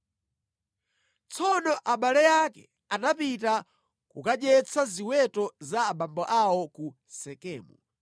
Tsono abale ake anapita kukadyetsa ziweto za abambo awo ku Sekemu,